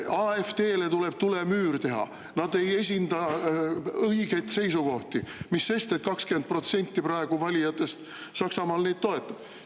AfD-le tuleb tulemüür teha, nad ei esinda õigeid seisukohti, mis sest, et 20% valijatest Saksamaal neid praegu toetab.